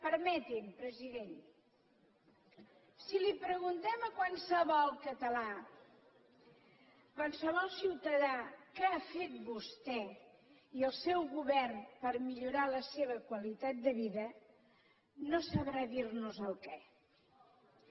permeti’m president si li preguntem a qualsevol català qualsevol ciutadà què ha fet vostè i el seu govern per millorar la seva qualitat de vida no sabrà dir nos el què